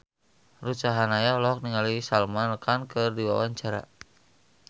Ruth Sahanaya olohok ningali Salman Khan keur diwawancara